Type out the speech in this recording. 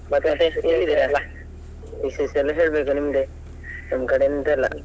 ವಿಶೇಷ ಎಲ್ಲ ಹೇಳ್ಬೇಕು ನಿಮ್ದೇ ನಮ್ ಕಡೆ ಎಂತ ಇಲ್ಲ.